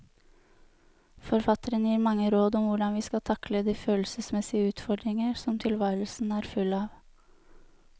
Forfatteren gir mange råd om hvordan vi skal takle de følelsesmessige utfordringer som tilværelsen er full av.